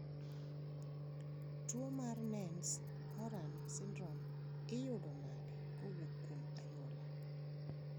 Tuo mar Nance Horan syndrome iyudo nade kowuok kuom anyuola?